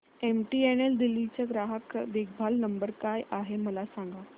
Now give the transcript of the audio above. MTNL Delhi चा ग्राहक देखभाल नंबर काय आहे मला सांग